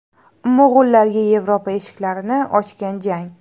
Mo‘g‘ullarga Yevropa eshiklarini ochgan jang.